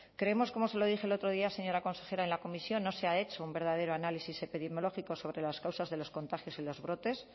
creemos como se lo dije el otro día señora consejera en la comisión no se ha hecho un verdadero análisis epidemiológico sobre las causas de los contagios y los brotes